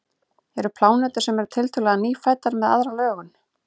eru plánetur sem eru tiltölulega „nýfæddar“ með aðra lögun